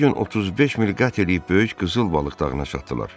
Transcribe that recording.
Birinci gün 35 mil qət eləyib böyük qızıl balıq dağına çatdılar.